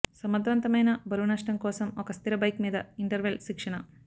సమర్థవంతమైన బరువు నష్టం కోసం ఒక స్థిర బైక్ మీద ఇంటర్వెల్ శిక్షణ